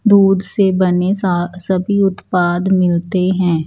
दूध से बनें सा सभी उत्पाद मिलते हैं।